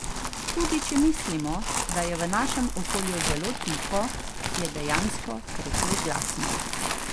Tudi če mislimo, da je v našem okolju zelo tiho, je dejansko precej glasno.